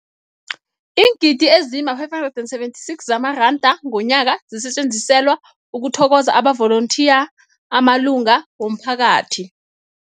Iingidi ezima-576 zamaranda ngomnyaka zisetjenziselwa ukuthokoza amavolontiya amalunga womphakathi.